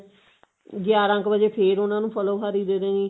ਗਿਆਰਾਂ ਕੁ ਵਜੇ ਫ਼ੇਰ ਉਹਨਾ ਨੂੰ ਫਲੋਹਾਰੀ ਦੇ ਦੇਣੀ